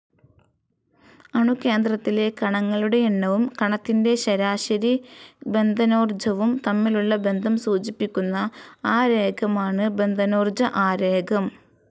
അണുകേന്ദ്രത്തിലെ കണങ്ങളുടെ എണ്ണവും, കണത്തിന്റെ ശരാശരി ബന്ധനോർജ്ജവും തമ്മിലുള്ള ബന്ധം സൂചിപ്പിക്കുന്ന ആരേഖമാണ്‌ ബന്ധനോർജ്ജ ആരേഖം.